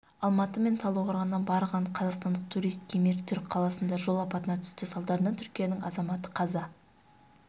алматы мен талдықорғаннан барған қазақстандық турист кемер түрік қаласында жол апатына түсті салдарынан түркияның азаматы қаза